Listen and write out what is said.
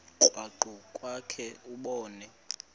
krwaqu kwakhe ubone